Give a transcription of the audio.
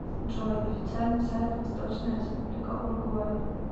джой официальный сайт восточная республика уругвай